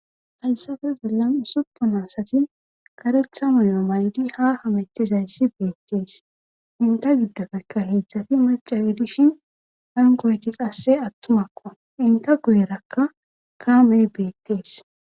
haysape bollan usuppun asati karetha mayo mayidi ha hametizayssi beettes;enta giddopekka heedzati macca gidishin hankoyti qassi attumako;enta guyerakka kaamee beettes.